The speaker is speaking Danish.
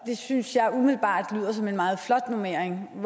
synes jeg umiddelbart lyder som en meget flot normering